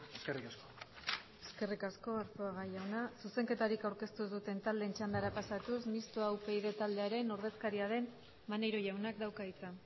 eskerrik asko eskerrik asko arzuaga jauna zuzenketarik aurkeztu ez duten taldeen txandara pasatuz mistoa upyd taldearen ordezkaria den maneiro jaunak dauka hitza